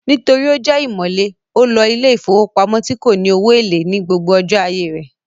Nítorí ó jẹ́ ìmọ̀le, ó lo ilé ìfowópamọ́ tí kò ní owó èlé ní gbogbo ọjọ́ ayé rẹ̀